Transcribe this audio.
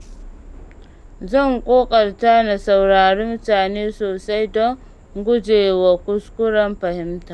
Zan ƙoƙarta na saurari mutane sosai don guje wa kuskuren fahimta.